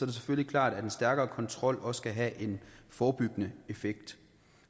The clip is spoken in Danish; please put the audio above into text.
det selvfølgelig klart at en stærkere kontrol også kan have en forebyggende effekt